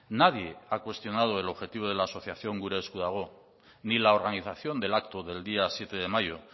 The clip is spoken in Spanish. nadie ha cuestionado el objetivo de la asociación gure esku dago ni la organización del acto del día siete de mayo